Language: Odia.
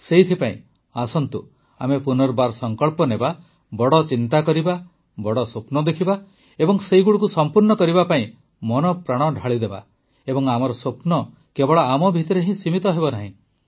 ସେଥିପାଇଁ ଆସନ୍ତୁ ଆମେ ପୁନର୍ବାର ସଙ୍କଳ୍ପ ନେବା ବଡ଼ ଚିନ୍ତା କରିବା ବଡ଼ ସ୍ୱପ୍ନ ଦେଖିବା ଏବଂ ସେଗୁଡ଼ିକୁ ସଂପୂର୍ଣ୍ଣ କରିବା ପାଇଁ ମନପ୍ରାଣ ଢାଳିଦେବା ଏବଂ ଆମର ସ୍ୱପ୍ନ କେବଳ ଆମ ଭିତରେ ହିଁ ସୀମିତ ହେବନାହିଁ